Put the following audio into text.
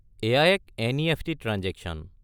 এইয়া এক NEFT. Transaction.